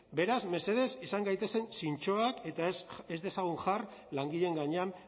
beraz mesedez izan gaitezen zintzoak eta ez dezagun jar langileen gainean